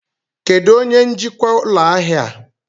Kedụ onye njikwa ụlọ ahịa a?